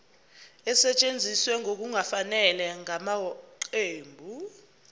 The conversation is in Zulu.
esetshenziswe ngokungafanele ngamaqembu